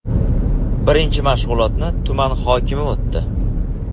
Birinchi mashg‘ulotni tuman hokimi o‘tdi.